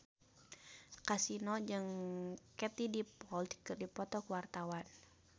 Kasino jeung Katie Dippold keur dipoto ku wartawan